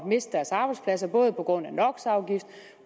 miste deres arbejdsplads både på grund